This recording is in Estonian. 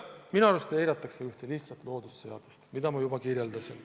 Minu arust eiratakse ühte lihtsat loodusseadust, mida ma juba kirjeldasin.